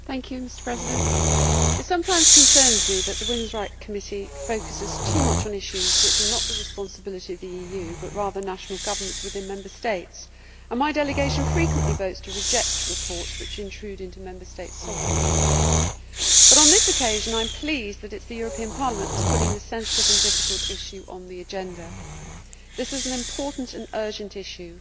Mr President, it sometimes concerns me that the Committee on Women's Rights focuses too much on issues which are not the responsibility of the EU but rather of national governments within Member States, and my delegation frequently votes to reject reports which intrude into Member States' sovereignty. But on this occasion I am pleased that it is the European Parliament which is putting this sensitive and difficult issue on the agenda. This is an important and urgent issue.